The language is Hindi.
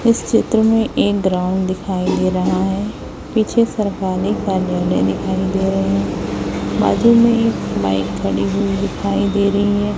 इस चित्र में एक ग्राउंड दिखाई दे रहा है पीछे सरकारी कार्यालय दिखाई दे रहे बाजू में एक बाइक खड़ी हुई दिखाई दे रही है।